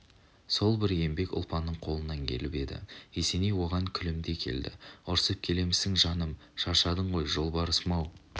сол бір еңбек ұлпанның қолынан келіп еді есеней оған күлімдей келді ұрсып келемісің жаным шаршадың ғой жолбарысым-ау